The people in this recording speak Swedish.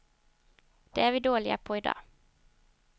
Det är vi dåliga på i dag.